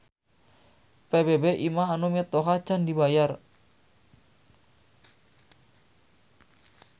PBB imah anu mitoha can dibayar